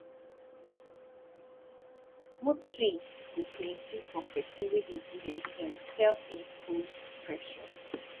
mood swings go plenti for pesin wey dey give himself self imposed pressure